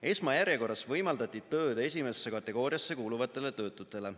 Esmajärjekorras võimaldati tööd esimesse kategooriasse kuuluvatele töötutele.